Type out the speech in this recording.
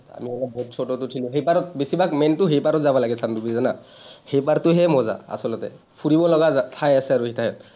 আমি অলপ boat চটত উঠিলো, সেই পাৰত বেছি ভাগ main টো সেইপাৰত যাব লাগে চানডুবিৰ জানা? সেই পাৰটোহে মজা আচলতে, ফুৰিব লগা ঠাই আছে আৰু সিঠাইত।